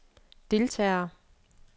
deltagere